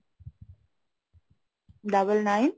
double nine